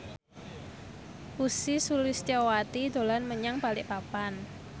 Ussy Sulistyawati dolan menyang Balikpapan